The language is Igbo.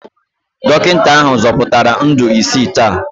Dọkịta ahụ zọpụtara ndụ isii taa